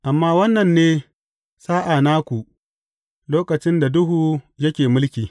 Amma wannan ne sa’a naku, lokacin da duhu yake mulki.